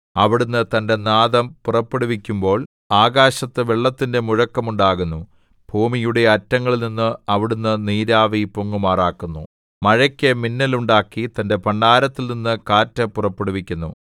അവിടുന്ന് തന്റെ നാദം പുറപ്പെടുവിക്കുമ്പോൾ ആകാശത്ത് വെള്ളത്തിന്റെ മുഴക്കം ഉണ്ടാകുന്നു ഭൂമിയുടെ അറ്റങ്ങളിൽനിന്ന് അവിടുന്ന് നീരാവി പൊങ്ങുമാറാക്കുന്നു മഴയ്ക്കു മിന്നൽ ഉണ്ടാക്കി തന്റെ ഭണ്ഡാരത്തിൽനിന്ന് കാറ്റു പുറപ്പെടുവിക്കുന്നു